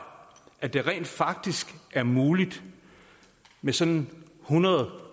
at det rent faktisk er muligt med sådan hundrede